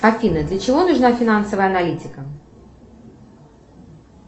афина для чего нужна финансовая аналитика